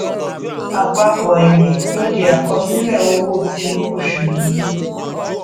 àpapọ èrè ló di àkọsílẹ owó ti oṣù yìí